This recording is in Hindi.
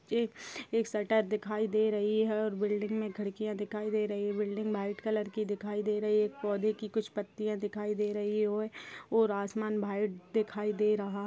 एक एक शटर दिखाई दे रही है और बिल्डिंग में खिड़कियाँ दिखाई दे रई | बिल्डिंग भाइट कलर की दिखाई दे रई | एक पौधे की कुछ पत्तियाँ दिखाई दे रही है और आसमान भाइट दिखाई दे रहा--